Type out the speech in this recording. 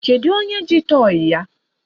Kedu onye ji tọyị ya?